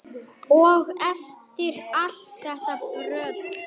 Og eftir allt þetta brölt!